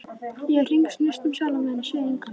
Ég hringsnýst um sjálfa mig en sé engan.